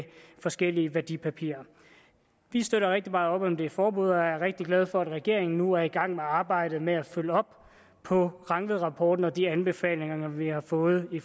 forskellige værdipapirer vi støtter rigtig meget op om det forbud og er rigtig glade for at regeringen nu er i gang med arbejdet med at følge op på rangvidrapporten og de anbefalinger vi har fået i